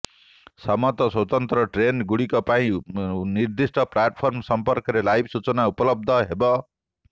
ସମସ୍ତ ସ୍ୱତନ୍ତ୍ର ଟ୍ରେନ ଗୁଡିକ ପାଇଁ ନିର୍ଦ୍ଧିଷ୍ଠ ପ୍ଲାଟଫର୍ମ ସମ୍ପର୍କରେ ଲାଇଭ ସୂଚନା ଉପଲବ୍ଧ ହେବ